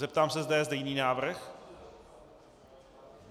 Zeptám se, zda je zde jiný návrh.